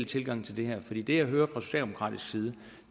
tilgange til det her fordi det jeg hører fra socialdemokratisk side